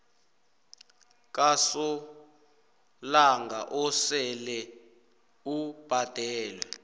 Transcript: kasolanga osele ubhadelwe